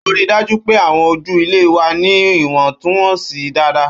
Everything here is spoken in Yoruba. Ó rí i dájú pé àwọn ojú ilẹ̀ wà ní ìwọ̀ntúnwọ̀nsì dáadáa.